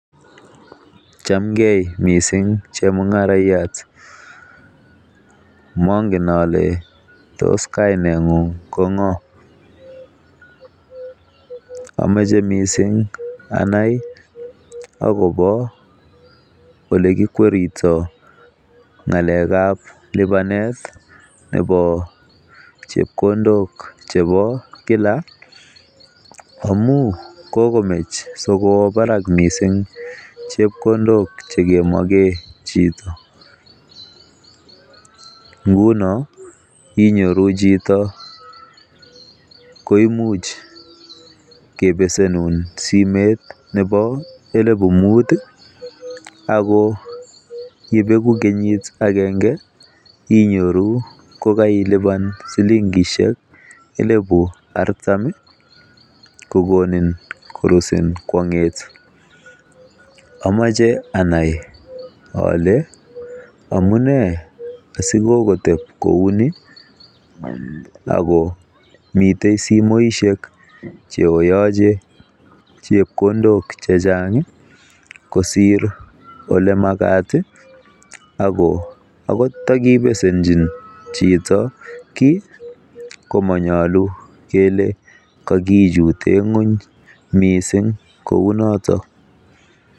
Chamgei missing chemungaraiyat mongen ale tos kainetngung Ko ng'o amche missing anai akobo ole kikweritoi ng'alek ab lipanet nebo chepkondok chebo kila amun kokomach sikoba barak missing chepkondok chekemokee chito nguno inyoru chito koimuch kepesenun simet nebo elipu Mut akoyepeku kenyit agenge inyoruu kokeilipan shilingishek elipu artam kokonin korusi kwong'et amache anai ale amune asikokotep kouni ako mitei simoishek cheoyoche chepkondok che chang kosir ole makat ako akot ndakibesenji chito kiit kimanyolu kele kakichute ng'weny mising kou noton.